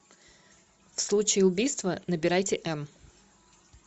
в случае убийства набирайте м